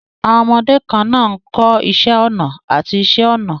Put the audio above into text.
Àwọn ọmọdé kan náà ń kọ́ iṣẹ́ ọnà àti iṣẹ́ ọnà.